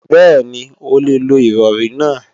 Bẹ́ẹ̀ni, o lè lo Ìrọ̀rí náà